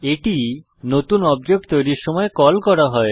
এটি নতুন অবজেক্ট তৈরির সময় কল করা হয়